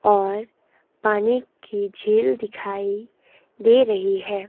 और पानी की झील दिखाई दे रही है।